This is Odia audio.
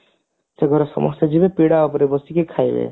ସେଘରେ ସମସ୍ତେ ଯିବେ ପିଢା ଉପରେ ବସିକି ଖାଇବେ